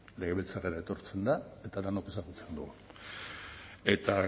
legebiltzarrera etortzen da eta denok ezagutzen dugu eta